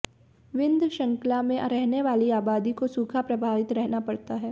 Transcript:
विन्ध्य शृंखला में रहने वाली आबादी को सूखा प्रभावित रहना पड़ता है